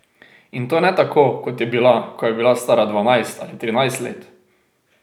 In to ne tako, kot je bila, ko je bila stara dvanajst ali trinajst let.